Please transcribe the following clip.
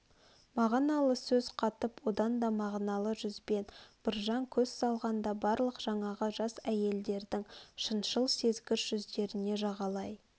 мағыналы сөз қатып одан да мағыналы жүзбен біржан көз салғанда барлық жаңағы жас әйелдердің шыншыл сезгіш жүздеріне жағалай